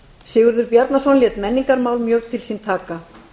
sigurður bjarnason lét menningarmál mjög til sín taka